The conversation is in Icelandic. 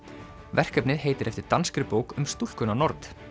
verkefnið heitir eftir danskri bók um stúlkuna nord